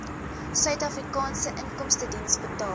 suidafrikaanse inkomstediens betaal